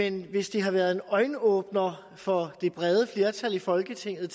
en hvis det har været en øjenåbner for et bredt flertal i folketinget